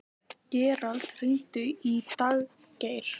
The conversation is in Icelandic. Gerald, hringdu í Daggeir.